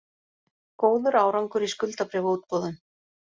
Góður árangur í skuldabréfaútboðum